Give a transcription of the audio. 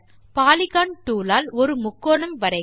polygon tool ஆல் ஒரு முக்கோணம் வரைக